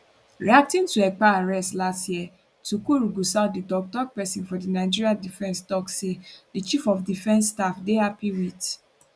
reacting to ekpa arrest last year tukur gusau di toktok pesin for di nigeria defence tok say di chief of defence staff dey happy wit